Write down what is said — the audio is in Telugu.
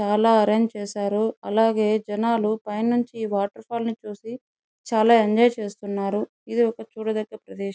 చాలా అరేంజ్ చేశారు అలాగే జనాలు పైనుంచి ఈ వాటర్ఫాల్ ను చూసి చాలా ఎంజాయ్ చేస్తున్నారు ఇది ఒక చూడదగ్గ ప్రదేశం.